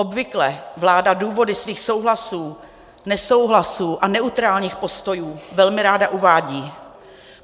Obvykle vláda důvody svých souhlasů, nesouhlasů a neutrálních postojů velmi ráda uvádí.